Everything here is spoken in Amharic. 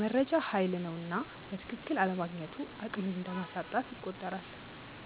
መረጃ ሃይል ነውና በትክክል አለማግኘቱ አቅምን እንደማሳጣት ይቆጠራል።